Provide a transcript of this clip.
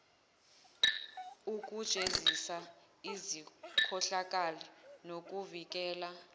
ukujezisa izikhohlakali nokuvikela